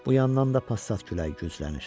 Bu yandan da passat küləyi güclənir.